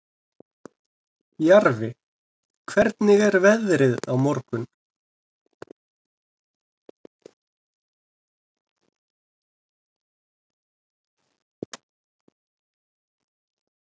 Jarfi, hvernig er veðrið á morgun?